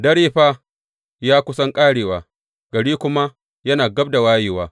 Dare fa ya kusan ƙarewa; gari kuma yana gab da wayewa.